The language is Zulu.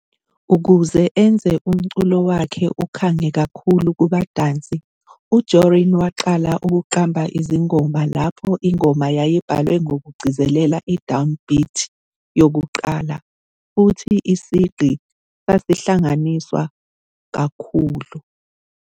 Ukuze enze umculo wakhe ukhange kakhulu kubadansi, uJorrín waqala ukuqamba izingoma lapho ingoma yayibhalwe ngokugcizelela i-downbeat yokuqala futhi isigqi sasingahlanganiswa kakhulu.